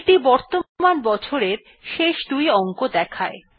এইটি বর্তমান বছরের শেষ দুই অংক দেখায়